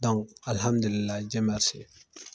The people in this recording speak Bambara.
alihamdulila